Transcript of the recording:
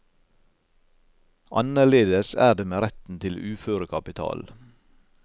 Annerledes er det med retten til uførekapital.